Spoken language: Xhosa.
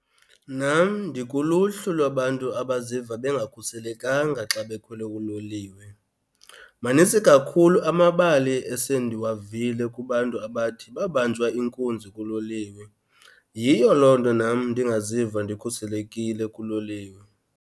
Nam ndikuluhlu lwabantu abaziva bengakhuselekanga xa bekhwele uloliwe. Manintsi kakhulu amabali esendiwavile kubantu abathi babanjwa inkunzi kuloliwe, yiyo loo nto nam ndingaziva ndikhuselekile kuloliwe.